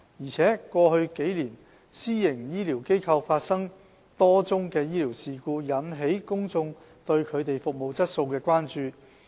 況且，過去數年，私營醫療機構發生多宗醫療事故，引起公眾對它們服務質素的關注。